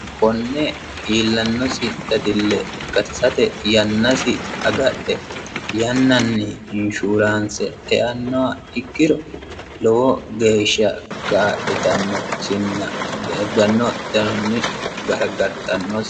Konne iillanosi dadille gatisate yannasi agadhe yannanni inshuraanse e"annoha ikkiro lowo geeshsha kaa'litanosinna daggano danoni gargartannosi.